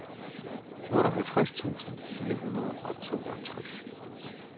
otteoghalvtreds tusind fire hundrede og toogtres